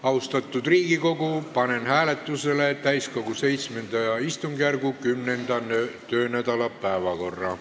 Austatud Riigikogu, panen hääletusele täiskogu VII istungjärgu 10. töönädala päevakorra.